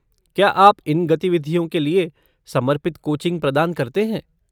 क्या आप इन गतिविधियों के लिए समर्पित कोचिंग प्रदान करते हैं?